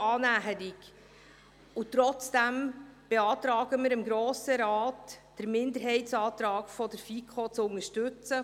Und trotzdem beantragen wir dem Grossen Rat, den Minderheitsantrag der FiKo zu unterstützen.